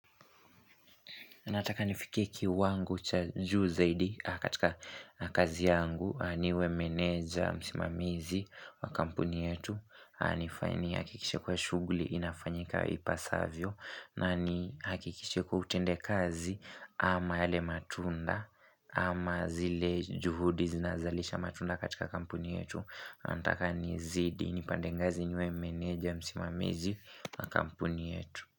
Nataka nifikie kiwango cha juu zaidi katika kazi yangu niwe meneja msimamizi wa kampuni yetu. Anifanye nihakikishe kuwa shughuli inafanyika ipasavyo na nihakikishe kuwa utende kazi ama yale matunda ama zile juhudi zinazalisha matunda katika kampuni yetu. Nataka nizidi ni pande ngazi niwe meneja msimamizi wa kampuni yetu.